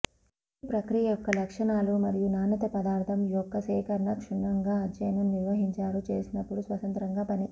ఈ ప్రక్రియ యొక్క లక్షణాలు మరియు నాణ్యత పదార్థం యొక్క సేకరణ క్షుణ్ణంగా అధ్యయనం నిర్వహించారు చేసినప్పుడు స్వతంత్రంగా పని